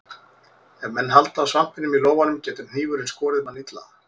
Ef menn halda á svampinum í lófanum getur hnífurinn skorið mann illa.